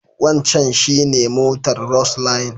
Wancan shi ne motar Roseline.